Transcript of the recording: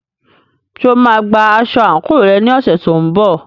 Ṣé o máa gba aṣọ àǹkóò rẹ ní ọ̀sẹ̀ tó ń bọ̀?